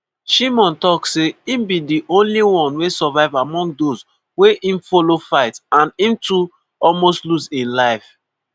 shimon tok say e be di only one wey survive among those wey im follow fight and im too almost lose im life.